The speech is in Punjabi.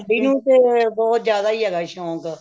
ਸਾਡੀ ਨੂੰਹ ਨੂੰ ਤੇ ਬਹੁਤ ਜਿਆਦਾ ਹੀ ਹੈਗਾ ਸ਼ੋਂਕ